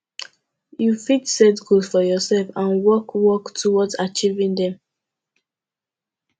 you fit set goals for yourself and work work towards achieving dem